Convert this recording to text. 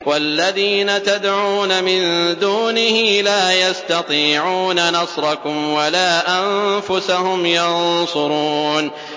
وَالَّذِينَ تَدْعُونَ مِن دُونِهِ لَا يَسْتَطِيعُونَ نَصْرَكُمْ وَلَا أَنفُسَهُمْ يَنصُرُونَ